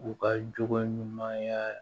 U ka jogo ɲuman